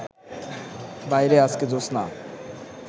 বাইরে আজকে জোছনা